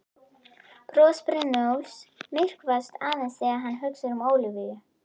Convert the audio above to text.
Bros Brynjólfs myrkvast aðeins þegar hann hugsar um Ólafíu.